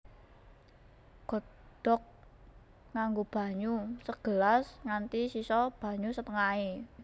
Godhog nganggo banyu segelas nganti sisa banyu setengahé